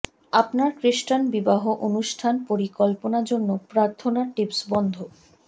আপনার খ্রিস্টান বিবাহ অনুষ্ঠান পরিকল্পনা জন্য প্রার্থনা টিপস বন্ধ